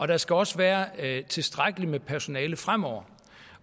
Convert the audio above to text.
der skal også være tilstrækkeligt med personale fremover